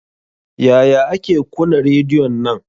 Yaya ake kuna rediyon nan?